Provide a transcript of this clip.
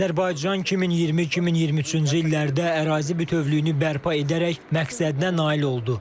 Azərbaycan 2020-2023-cü illərdə ərazi bütövlüyünü bərpa edərək məqsədinə nail oldu.